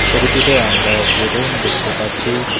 ছবিটিতে আমরা একটি রুম দেখতে পাচ্ছি।